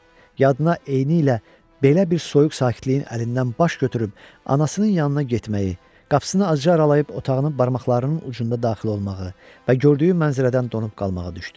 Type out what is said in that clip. Yadına eynilə belə bir soyuq sakitliyin əlindən baş götürüb anasının yanına getməyi, qapısını azca aralayıb otağına barmaqlarının ucunda daxil olmağı və gördüyü mənzərədən donub qalmağı düşdü.